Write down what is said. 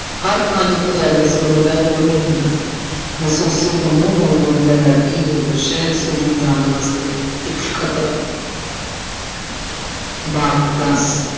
ਹਰ ਥਾਂ ਜਿੱਥੇ ਜਾਂਦੇ ਸੀ ਉਹ ਨਿਗ੍ਹਾ ਤੋਂ ਉਹਲੇ ਹੁੰਦਾ ਸੀ। ਮਾਸੂਸੀ ਤੇ ਦਾ ਨਰਕੀ ਹੋ ਗਿਆ। ਸ਼ਾਇਦ John, Suji ਵਾਸਤੇ ਇੱਕ ਖਤਰਾ